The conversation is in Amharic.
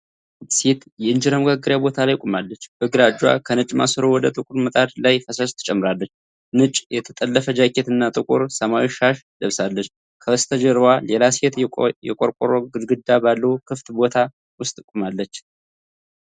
አንዲት ሴት የኢንጀራ መጋገሪያ ቦታ ላይ ቆማለች፤ በግራ እጇ ከነጭ ማሰሮ ወደ ጥቁር ምጣድ ላይ ፈሳሽ ትጨምራለች። ነጭ የተጠለፈ ጃኬት እና ጥቁር ሰማያዊ ሻሽ ለብሳለች። ከበስተጀርባዋ ሌላ ሴት የቆርቆሮ ግድግዳ ባለው ክፍት ቦታ ውስጥ ቆማለች።